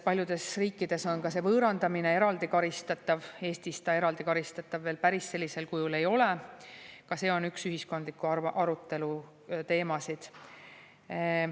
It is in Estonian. Paljudes riikides on see võõrandamine eraldi karistatav, aga Eestis see eraldi karistatav veel päris sellisel kujul ei ole – ka see on üks ühiskondliku arutelu teemasid.